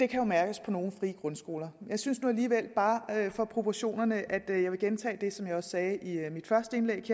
kan mærkes på nogle frie grundskoler jeg synes nu alligevel bare at jeg for proportionernes skyld vil gentage det som jeg også sagde i mit første indlæg